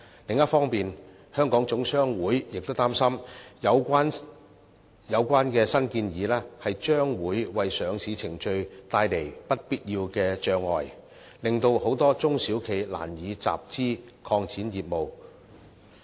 另一方面，香港總商會亦擔心有關新建議將會為上市程序帶來不必要的障礙，令很多中小企難以集資，拓展業務。